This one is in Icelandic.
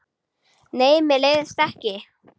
Nei, mér leiðist ekki.